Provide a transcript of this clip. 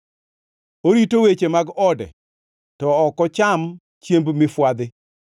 Orito weche mag ode to ok ocham chiemb mifwadhi.